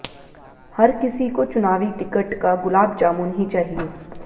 हर किसी को चुनावी टिकट का गुलाबजामुन ही चाहिए